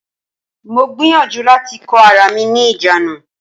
Mo gbìyànjú láti kó ara mi ní ìjánu.